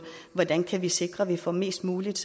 hvordan kan vi sikre at vi får mest muligt